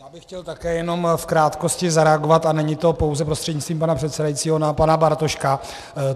Já bych chtěl také jenom v krátkosti zareagovat, a není to pouze prostřednictvím pana předsedajícího, na pana Bartoška.